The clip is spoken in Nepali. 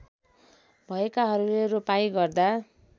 भएकाहरूले रोपाइँ गर्दा